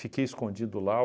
escondido lá.